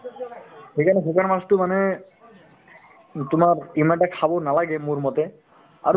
সেইকাৰণে শুকান মাছতো মানে তোমাৰ ইমান এটা খাব নালাগে মোৰমতে আৰু